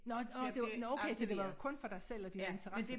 Nå nårh det var nå okay så det var kun for dig selv og din interesse